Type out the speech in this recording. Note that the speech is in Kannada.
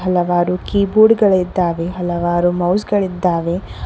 ಹಲವಾರು ಕೀಬೋರ್ಡ್ ಗಳಿದ್ದಾವೆ ಹಲವಾರು ಮೌಸ್ ಗಳಿದ್ದಾವೆ.